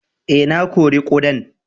Eh, na kori kudan.